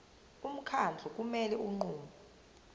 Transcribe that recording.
umkhandlu kumele unqume